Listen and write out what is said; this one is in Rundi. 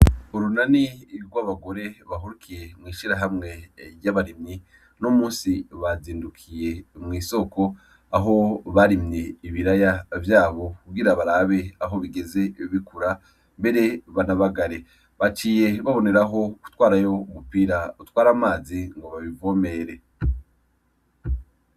Urunani rw'abagore bahurikiye mw'ishirahamwe ry'abarimyi uno musi bazindukiye mw'isoko aho barimye ibiraya vyabo kugira barabe aho bigeze bikura mbere banabagare baciye banaboneraho gutwarayo umupira utwara amazi ngo babivomere.